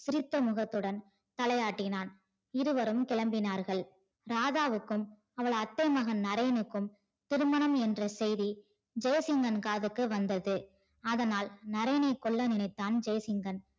சிரித்தமுகத்துடன் தலையாட்டினான். இருவரும் கிளம்பினார்கள் ராதாவுக்கும் அவள் அத்தை மகன் நரேனுக்கும் திருமணம் என்ற செய்தி ஜெயசிம்மன் காதுக்கு வந்தது அதனால் நரேனை கொல்லை நினைத்தான் ஜெய்சிங்கன்